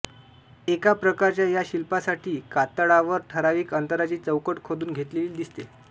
एका प्रकारच्या या शिल्पांसाठी कातळावर ठरावीक अंतराची चौकट खोदून घेतलेली दिसते